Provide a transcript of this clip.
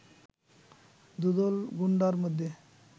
দুদল গুন্ডার মধ্যে